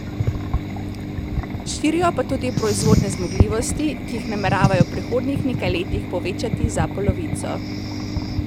Širijo pa tudi proizvodne zmogljivosti, ki jih nameravajo v prihodnjih nekaj letih povečati za polovico.